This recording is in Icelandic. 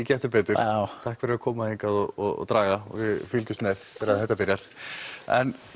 Gettu betur takk fyrir að koma hingað og draga við fylgjumst með þegar þetta byrjar en